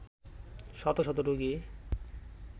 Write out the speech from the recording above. শত শত রোগী